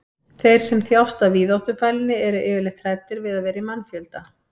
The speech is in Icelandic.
þeir sem þjást af víðáttufælni eru yfirleitt hræddir við að vera í mannfjölda